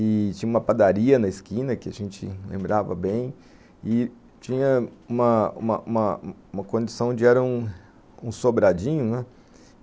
e tinha uma padaria na esquina, que a gente lembrava bem, e tinha uma uma uma uma condição onde era um sobradinho, né?